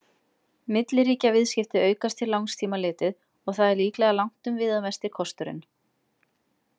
Milliríkjaviðskipti aukast til langs tíma litið, og það er líklega langtum viðamesti kosturinn.